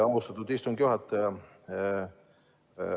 Aitäh, austatud istungi juhataja!